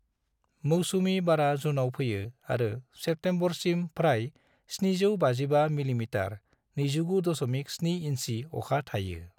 मौसुमि बारा जुनाव फैयो आरो सेप्तेम्बरसिम फ्राय 755 मिमी (29.7 इन्सि) अखा थायो।